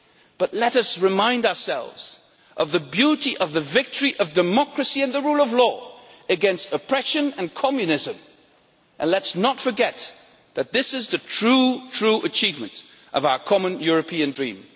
But let us remind ourselves of the beauty of the victory of democracy and the rule of law against oppression and Communism, and let us not forget that this is the true, true achievement of our common European dream.